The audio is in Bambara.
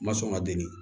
N ma sɔn ka deli